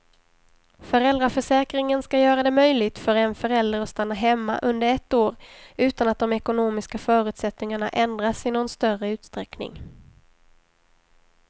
Föräldraförsäkringen ska göra det möjligt för en förälder att stanna hemma under ett år utan att de ekonomiska förutsättningarna ändras i någon större utsträckning.